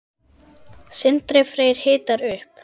Sindri Freyr hitar upp.